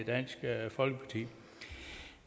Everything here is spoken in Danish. dansk folkeparti